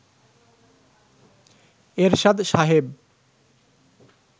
এরশাদ সাহেব